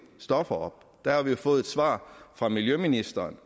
stoffer op der har vi fået et svar fra miljøministeren